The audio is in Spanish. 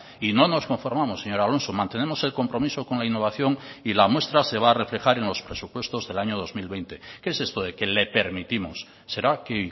y no nos conformamos señor alonso mantenemos el compromiso con la innovación y la muestra se va a reflejar en los presupuestos del año dos mil veinte qué es esto de que le permitimos será que